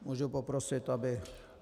Můžu poprosit, aby...